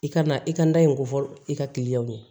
I kana i ka da in ko fɔlɔ i ka ye